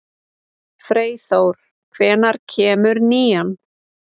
Freyþór, hvenær kemur nían?